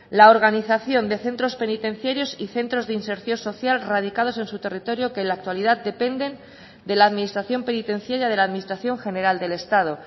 la organización de centros penitenciarios y centros de inserción social radicados en su territorio que en la actualidad dependen de la administración penitenciaria de la administración general del estado